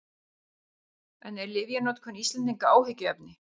En er lyfjanotkun Íslendinga áhyggjuefni?